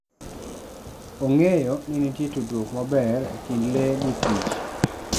Ong'eyo ni nitie tudruok maber e kind le gi Kich.